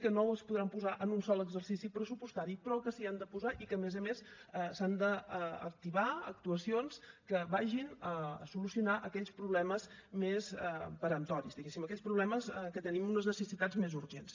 que no es podran posar en un sol exercici pressupostari però que s’hi han de posar i que a més a més s’han d’activar actuacions que vagin a solucionar aquells problemes més peremptoris diguéssim aquells problemes en què tenim unes necessitats més urgents